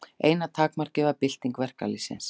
Eina takmarkið var bylting verkalýðsins.